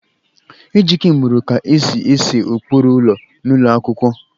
Ejike muru ka esi ese ụkpụrụ ụlọ n'ụlọ akwụkwọ